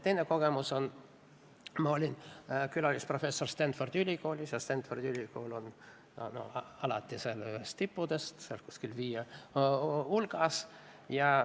Teise kogemuse sain, kui ma olin külalisprofessor Stanfordi ülikoolis ja Stanfordi ülikool on alati üks tippudest, seal kuskil viie hulgas.